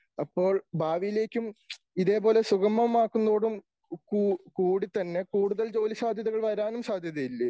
അപ്പോൾ ഭാവിയിലേക്കും ഇതേപോലെ സുഗമമാക്കുന്നതോടും കൂടി തന്നെ കൂടുതൽ ജോലി സാധ്യതകൾ വരാനും സാധ്യതയില്ലേ?